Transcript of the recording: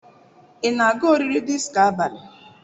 Ị na-aga oriri disko abalị